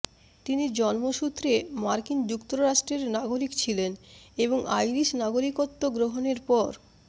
তিনি জন্মসূত্রে মার্কিন যুক্তরাষ্ট্রের নাগরিক ছিলেন এবং আইরিশ নাগরিকত্ব গ্রহণের পর